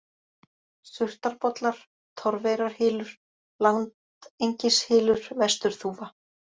Surtarbollar, Torfeyrarhylur, Landengishylur, Vesturþúfa